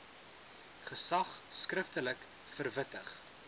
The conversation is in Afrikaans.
gesag skriftelik verwittig